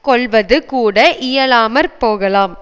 கொள்ளுவது கூட இயலாமற் போகலாம்